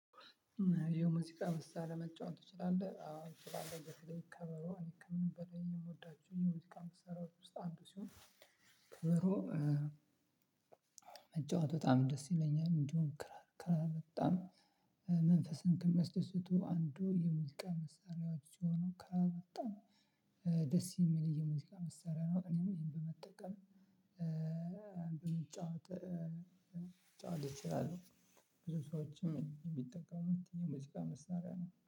ይሄው ሙዚቃ መሳሪያ መጫወት ትችላለህ? አዎ እችላለው በተለይ ከበሮ እኔ ከምንም በላይ የምወዳቸው የሙዚቃ መሳሪያዎች ውስጥ አንዱ ሲሆን ከበሮ መጫወት በጣም ደስ ይለኛል። እንዲሁም ክራር ክራር በጣም መንፈስን ከሚያስደስቱ አንዱ የሙዚቃ መሳሪያዎች ሆኖ ክራር በጣም ደስ የሚል የሙዚቃ መሳሪያ ነው። እኔም ይሄን በመጠቀም ልጫወት ልጫወት እችላለሁ። ብዙ ሰዎችም የሚጠቀሙት የሙዚቃ መሳሪያ ነው።